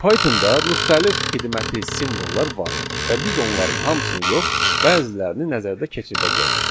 Pythonda müxtəlif xidməti simvollar var və biz onların hamısını yox, bəzilərini nəzərdən keçirdəcəyik.